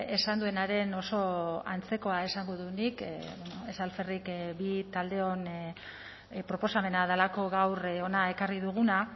esan duenaren oso antzekoa esango dut nik ez alferrik bi taldeon proposamena delako gaur hona ekarri duguna